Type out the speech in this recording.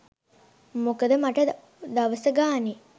මොකද මට දවස ගානේ